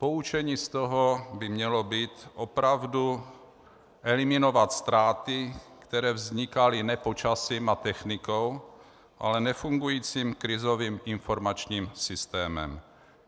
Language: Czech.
Poučení z toho by mělo být - opravdu eliminovat ztráty, které vznikaly ne počasím a technikou, ale nefungujícím krizovým informačním systémem.